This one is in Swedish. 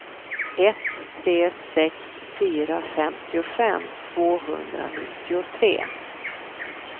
ett tre sex fyra femtiofem tvåhundranittiotre